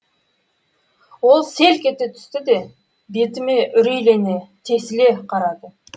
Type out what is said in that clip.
ол селк ете түсті де бетіме үрейлене тесіле қарады